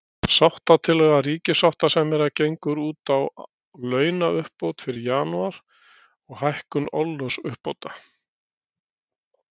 Sáttatillaga ríkissáttasemjara gengur út á launauppbót fyrir janúar, og hækkun orlofsuppbóta.